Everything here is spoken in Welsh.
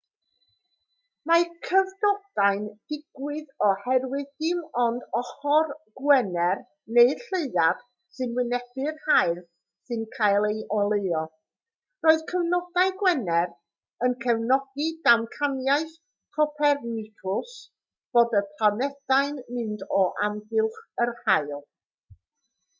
mae cyfnodau'n digwydd oherwydd dim ond ochr gwener neu'r lleuad sy'n wynebu'r haul sy'n cael ei oleuo. roedd cyfnodau gwener yn cefnogi damcaniaeth copernicws bod y planedau'n mynd o amgylch yr haul